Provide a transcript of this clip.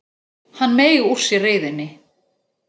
Hann meig úr sér reiðinni.